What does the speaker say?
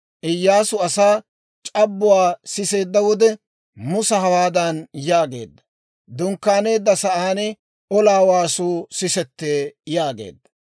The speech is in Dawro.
Iyyaasu asaa c'abbuwaa siseedda wode, Musa hawaadan yaageedda; «Dunkkaaneedda sa'aan olaa waasuu sisetee» yaageedda.